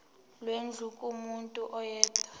lwendlu kumuntu oyedwa